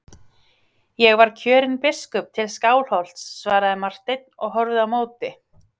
Ég var kjörinn biskup til Skálholts, svaraði Marteinn og horfði á móti.